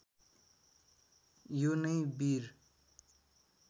यो नै वीर